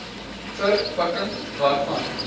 ver pakking waarvan